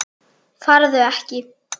Farðu ekki.